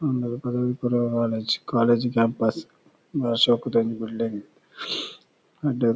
ಒಂದು ಪದವಿಪೂರ್ವ college college campus ಬಾರಿ ಶೋಕುದ ಒಂಜಿ ಬಿಲ್ಡಿಂಗ್ ಎಡ್ಡೆ --